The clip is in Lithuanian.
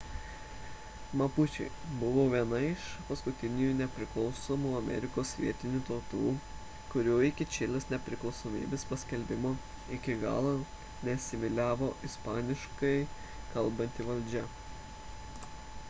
mapučiai buvo viena iš paskutiniųjų nepriklausomų amerikos vietinių tautų kurių iki čilės nepriklausomybės paskelbimo iki galo neasimiliavo ispaniškai kalbanti valdžia